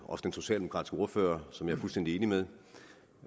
også den socialdemokratiske ordfører som jeg er fuldstændig enig med